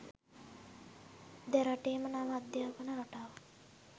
දෙරටේම නව අධ්‍යාපන රටාව